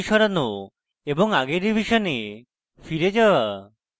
আগের revision ফিরে যাওয়া